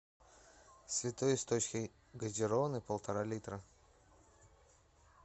святой источник газированный полтора литра